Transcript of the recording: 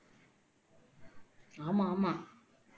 ஆமா ஆமா